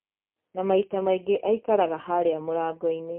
Na maita maingĩ aikaraga harĩa mũrango-inĩ